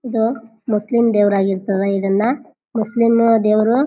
ಇದು ಮುಸ್ಲಿಂ ದೇವ್ರು ಆಗಿರ್ತದೆ ಇದನ್ನ ಮುಸ್ಲಿಂ ದೇವ್ರು--